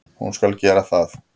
Hún skal gera það.